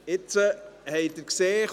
Sie haben es gesehen: